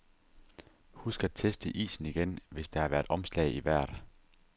Husk at teste isen igen, hvis der har været omslag i vejret.